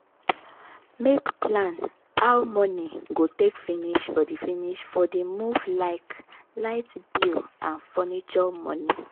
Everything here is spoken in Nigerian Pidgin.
make plan how money go take finish for the finish for the move like light bill and furniture money.